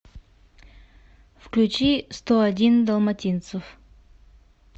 включи сто один далматинец